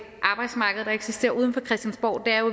arbejdsmarked der eksisterer uden for christiansborg er jo